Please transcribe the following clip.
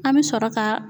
An bɛ sɔrɔ ka